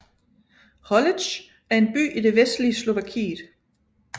Holíč er en by i det vestlige Slovakiet